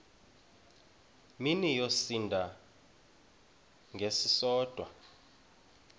mini yosinda ngesisodwa